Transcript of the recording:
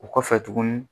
O kɔfɛ tuguni